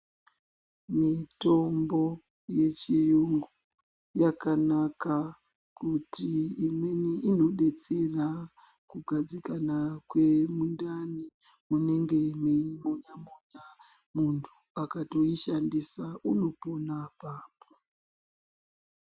Mitombo yechiyungu yakanaka kuti imweni inodetsera kugadzikana kwemundani munenge meimonya-monya. Muntu akatoishandisa unopona apapo.